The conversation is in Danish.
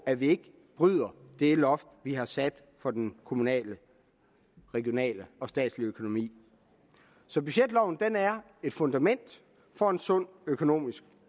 at vi ikke bryder det loft vi har sat for den kommunale regionale og statslige økonomi så budgetloven er et fundament for en sund økonomisk